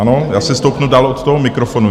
Ano, já si stoupnu dál od toho mikrofonu.